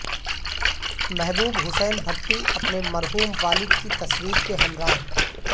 محبوب حسین بھٹی اپنے مرحوم والد کی تصویر کے ہمراہ